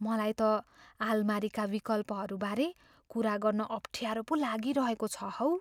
मलाई त आलमारीका विकल्पहरू बारे कुरा गर्न अफ्ठ्यारो पो लागिरहेको छ हौ।